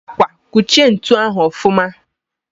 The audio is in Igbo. Mbakwa! Kuchie ntu ahụ ọfụma!